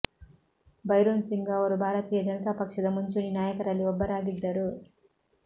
ಭೈರೋನ್ ಸಿಂಗ್ ಅವರು ಭಾರತೀಯ ಜನತಾ ಪಕ್ಷದ ಮುಂಚೂಣಿ ನಾಯಕರಲ್ಲಿ ಒಬ್ಬರಾಗಿದ್ದರು